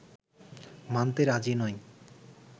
মানতে রাজি নয়